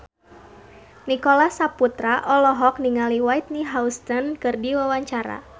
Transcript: Nicholas Saputra olohok ningali Whitney Houston keur diwawancara